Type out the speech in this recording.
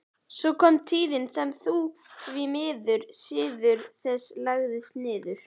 Svo kom tíðin sem því miður siður þessi lagðist niður.